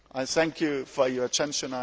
Thank you for your attention.